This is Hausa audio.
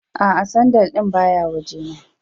A'a sandal din ba ya waje na.